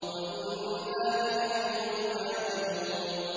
وَإِنَّا لَجَمِيعٌ حَاذِرُونَ